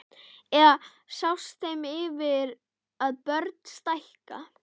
Eða sást þeim yfir að börn stækka?